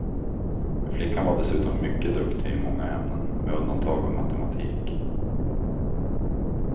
Flickan var dessutom mycket duktig i många ämnen, med undantag av matematik.